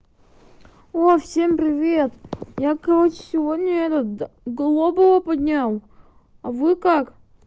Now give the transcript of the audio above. о всем привет я короче сегодня этот глобала поднял а вы как